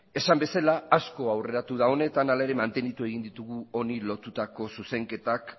esan bezala asko aurreratu da honetan hala ere mantendu egin ditugu honi lotutako zuzenketak